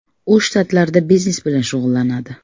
U shtatlarda biznes bilan shug‘ullanadi.